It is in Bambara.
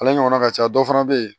Ale ɲɔgɔnna ka ca dɔ fana be yen